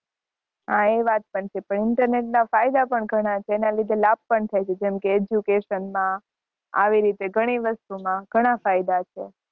હા એ વાત પણ છે internet ના ફાયદા પણ ઘણા ફાયદા છે એના કારણે લાભ પણ થાય છે જેમકે education માં આવી રીતે ઘણી વસ્તુ માં